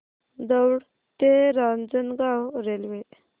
दौंड ते रांजणगाव रेल्वे